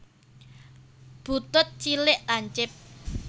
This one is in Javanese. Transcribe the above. Butut cilik lancip